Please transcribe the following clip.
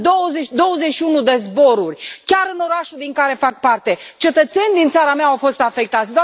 În 21 de zboruri, chiar în orașul din care fac parte, cetățeni din țara mea au fost afectați.